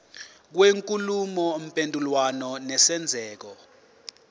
kwenkulumo mpendulwano nesenzeko